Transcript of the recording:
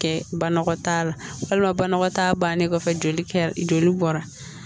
Kɛ banakɔ t'a la walima banakɔtaa bannen kɔfɛ joli bɔra